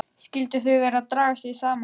Skyldu þau vera að draga sig saman?